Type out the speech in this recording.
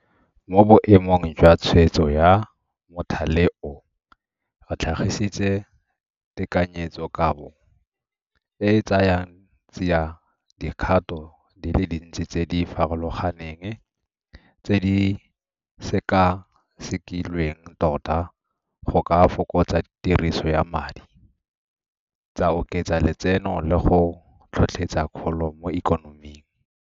Mo boemong jwa tshwetso ya mothale oo, re tlhagisitse tekanyetsokabo e e tsayang tsiadikgato di le dintsi tse di farologaneng tse di sekasekilweng tota go ka fokotsa tiriso ya madi, tsa oketsa letseno le go tlhotlhetsa kgolo mo ikonoming.